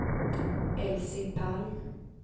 Elsie Palm